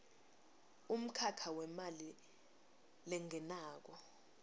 umkhakha wemali lengenako